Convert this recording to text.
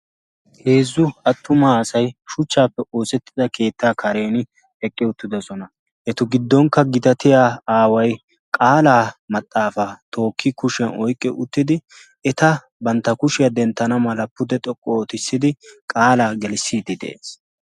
Heezzu attumaa asay shuchchaappe oosettida keettaa karen eqqe uttidosona. Etu giddonkka gitatiya aaway qaalaa maxaafaa tookki kushiyan oyqqi uttidi eta bantta kushiyaa denttana mala pude xoqqu ootissidi qaalaa gelissiidi de'ees.